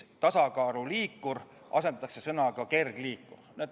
"Tasakaaluliikur" asendatakse sõnaga "kergliikur".